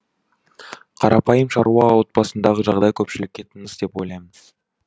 қарапайым шаруа отбасындағы жағдай көпшілікке тыныс деп ойлаймын